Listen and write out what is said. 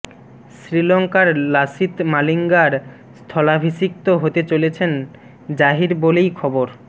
শ্রীলঙ্কার লাসিথ মালিঙ্গার স্থলাভিষিক্ত হতে চলেছেন জাহির বলেই খবর